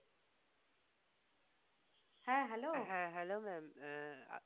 হ্যাঁ Hello mam আহ